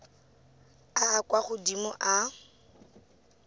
a a kwa godimo a